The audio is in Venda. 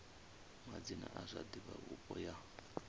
madzina a zwa divhavhupo ya